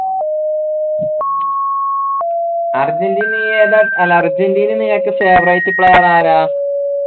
Argentina നീ ഏതാ അല്ല അർജൻറീന നിനക്ക് favorite player ആരാ